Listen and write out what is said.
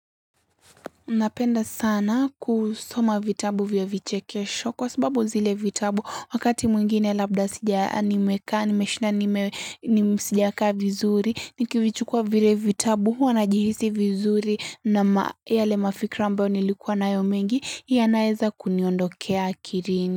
Napenda sana kusoma vitabu vya viche kesho kwa sababu zile vitabu wakati mwingine labda sija animeka, nimeshina, nime sijaka vizuri, nikivichukua vire vitabu huwa na jihisi vizuri na yale mafikra ambao nilikuwa nayo mengi yanaeza kuniondokea kirini.